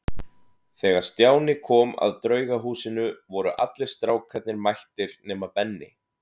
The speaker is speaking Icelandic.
Þegar Stjáni kom að Draugahúsinu voru allir strákarnir mættir nema Benni.